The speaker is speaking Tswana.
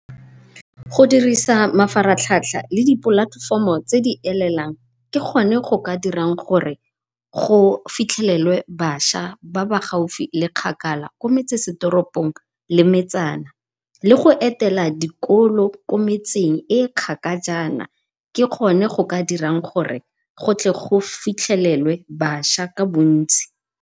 Go dirisa mafaratlhatlha le dipolatefomo tse di elelang ke gone go ka dirang gore go fitlhelelwe bašwa ba ba gaufi le kgakala, ko metsesetoropong le metsana, le go etela dikolo ko metseng e kgakajana ke gone go ka dirang gore go tle go fitlhelelwe baswa ka bontsi.